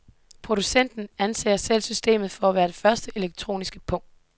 Prosucenten anser selv systemet for at være den første elektroniske pung.